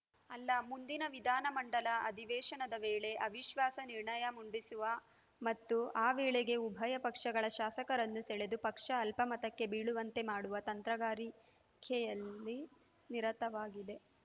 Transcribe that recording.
ಅಲ್ಲ ಮುಂದಿನ ವಿಧಾನಮಂಡಲ ಅಧಿವೇಶನದ ವೇಳೆ ಅವಿಶ್ವಾಸ ನಿರ್ಣಯ ಮುಂಡಿಸುವ ಮತ್ತು ಆ ವೇಳೆಗೆ ಉಭಯ ಪಕ್ಷಗಳ ಶಾಸಕರನ್ನು ಸೆಳೆದು ಪಕ್ಷ ಅಲ್ಪಮತಕ್ಕೆ ಬೀಳುವಂತೆ ಮಾಡುವ ತಂತ್ರಗಾರಿಕೆಯಲ್ಲಿ ನಿರತವಾಗಿದೆ